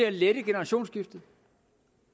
at lette generationsskiftet